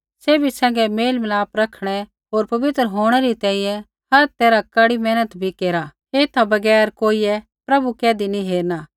सैभी सैंघै मेलमिलाप रखणै होर पवित्र होंणै री तैंईंयैं हर तैरहा कड़ी मेहनत भी केरा एथा बगैर कोइयै प्रभु कैधी नैंई हेरणा